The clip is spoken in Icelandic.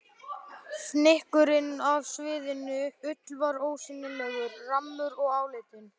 Fnykurinn af sviðinni ull var ólýsanlegur, rammur og áleitinn.